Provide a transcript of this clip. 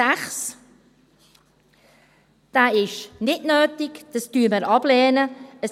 Punkt 6 ist nicht nötig, diesen lehnen wir ab.